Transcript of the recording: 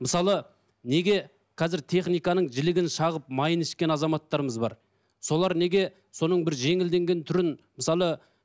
мысалы неге қазір техниканың жілігін шағып майын ішкен азаматтарымыз бар солар неге соның бір жеңілденген түрін мысалы